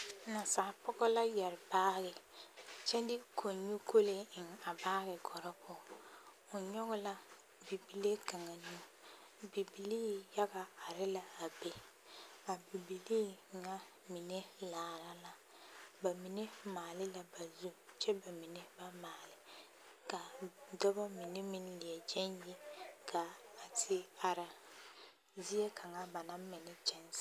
Nasapɔgɔ la yɛre baagi kyɛ de kɔnyu kolee eŋ a baagi kɔre poɔ, o nyɔge la bibile kaŋ nu, bibilii yaga are la a be, a bibilii ŋa mine laara la, bamine maale la ba zu kyɛ bamine ba maale ka dɔbɔ mine meŋ leɛ gyɛŋ yi gaa te are zie kaŋa ba naŋ mɛ ne kyɛnse.